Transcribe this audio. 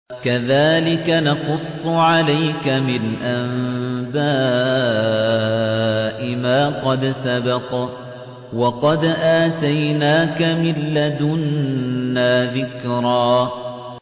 كَذَٰلِكَ نَقُصُّ عَلَيْكَ مِنْ أَنبَاءِ مَا قَدْ سَبَقَ ۚ وَقَدْ آتَيْنَاكَ مِن لَّدُنَّا ذِكْرًا